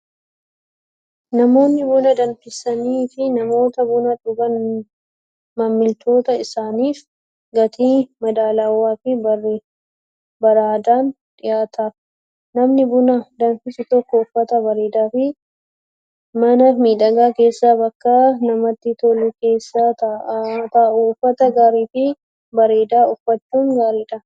Namoonni buna danfisanii fi namoota buna dhugan maamiltoota isaaniif gatii madaalawaa fi bareedaan dhiyaataaf. Namni buna danfisu tokko uffata bareedaa fi mana miidhagaa keessa bakka namatti tolu keessa taa'u. Uffata gaarii fi bareedaa uffachuun gaariidha.